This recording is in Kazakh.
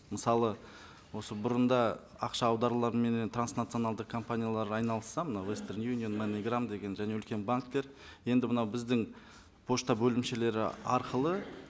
мысалы осы бұрында ақша аударуларменен транснационалдық компаниялар айналысса мынау вестерн юнион маниграм деген және үлкен банктер енді мынау біздің пошта бөлімшелері арқылы